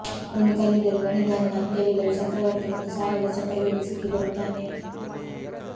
ಒಂದು ಕಲ್ಲಿದ್ದಲು ಗಣಿಗಾರನು ಅಂತ್ಯವಿಲ್ಲದ ಚಕ್ರವರ್ತಿ ಮತ್ತು ಸಾಲದ ಚಕ್ರದಲ್ಲಿ ಸಿಕ್ಕಿಬರುತ್ತಾನೆ